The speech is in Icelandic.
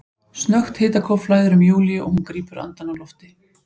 Snöggt hitakóf flæðir um Júlíu og hún grípur andann á lofti.